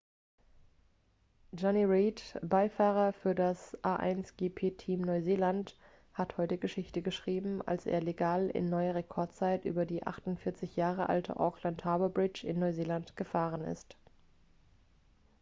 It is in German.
jonny reid beifahrer für das a1gp-team neuseeland hat heute geschichte geschrieben als er legal in neuer rekordzeit über die 48 jahre alte auckland harbour bridge in neuseeland gefahren ist